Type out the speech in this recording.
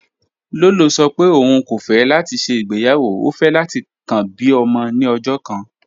Lọlọ sọ̀ pé ọún kò fẹ̀ láti ṣẹ́ igbeyawo, ó fẹ̀ láti kàn bí ọmọ ni ọ̀jọ̀ kan